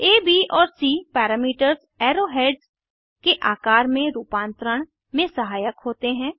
आ ब और C parameters arrow heads के आकर में रूपांतरण में सहायक होते हैं